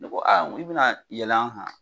Ne ko i bɛna yɛlɛ an kan ?